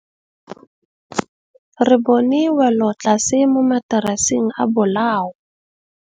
Re bone wêlôtlasê mo mataraseng a bolaô.